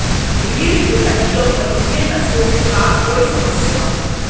रीढ़ की हड्डी और परिधीय नसों के साथ कोई समस्या